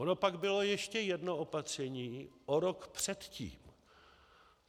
Ono pak bylo ještě jedno opatření o rok předtím.